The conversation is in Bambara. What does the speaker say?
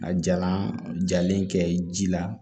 A jalan jalen kɛ ji la